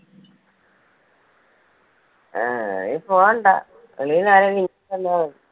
ആ ഇനി പോകണ്ട വെളിയിൽ നിന്ന് ആരേലും